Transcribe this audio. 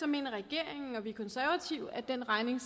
mener regeringen og vi konservative at den regning